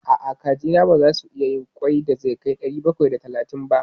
A'a, kajina baza su iya yin ƙwai da zai kai ɗari bakwai da tamanin ba.